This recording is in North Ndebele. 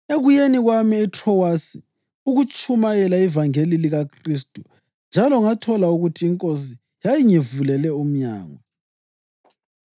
Ekuyeni kwami eTrowasi ukuyatshumayela ivangeli likaKhristu njalo ngathola ukuthi iNkosi yayingivulele umnyango,